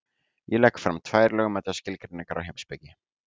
Ég legg fram tvær lögmætar skilgreiningar á heimspeki.